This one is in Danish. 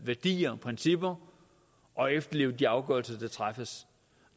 værdier og principper og efterleve de afgørelser der træffes